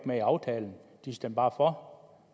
med i aftalen de stemte bare for